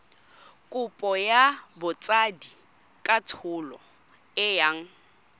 kopo ya botsadikatsholo e yang